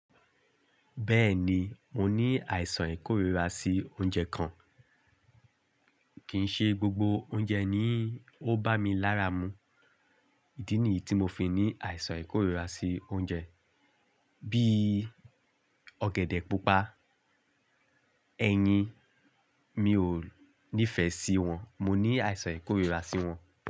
Bẹ́ẹ̀ni, mo ní àìsàn ìkórira sí oúnjẹ kan. Kìí ṣe gbogbo oúnjẹ ni ó bá mi lára mu. Ìdí nìyí tí mo fi ní àìsàn ìkórira sí oúnjẹ bí i ọ̀gẹ̀dẹ̀ pupa, ẹyin mi ò nífẹ̀ẹ́ sí wọn, mo ní àìsàn ìkórira sí wọn.